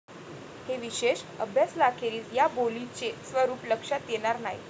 हे विशेष अभ्यासलाखेरीज या बोलीचे स्वरूप लक्षात येणार नाही.